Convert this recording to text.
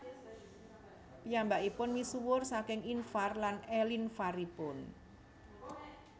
Piyambakipun misuwur saking invar lan elinvar ipun